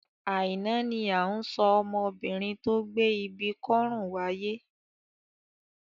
Àìná ni à ń sọ ọmọbinrin tó gbé ibi kọ́rùn wáyé.